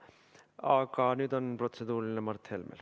Aga nüüd on protseduuriline küsimus Mart Helmel.